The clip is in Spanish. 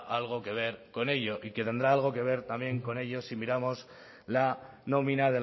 algo que ver con ello y que tendrá algo que ver también con ello si miramos la nómina